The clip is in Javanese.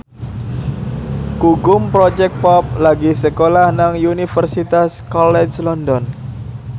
Gugum Project Pop lagi sekolah nang Universitas College London